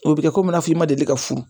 O bɛ kɛ komi i n'a fɔ i ma deli ka furu